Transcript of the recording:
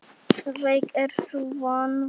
Veik er sú von.